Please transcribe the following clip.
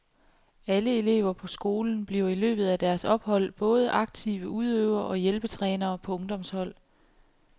Alle elever på skolen bliver i løbet af deres ophold både aktive udøvere og hjælpetrænere på ungdomshold.